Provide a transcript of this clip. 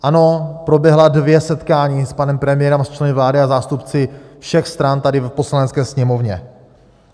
Ano, proběhla dvě setkání s panem premiérem a členy vlády se zástupci všech stran tady v Poslanecké sněmovně.